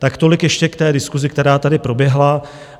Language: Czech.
Tak tolik ještě k té diskusi, která tady proběhla.